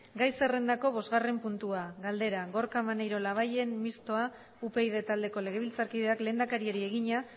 gai zerrendako bosgarren puntua galdera gorka maneiro labayen mistoa upyd taldeko legebiltzarkideak lehendakariari egina